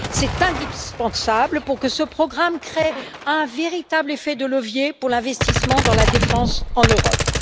C'est indispensable pour que ce programme crée un véritable effet de levier pour l'investissement dans la défense en Europe.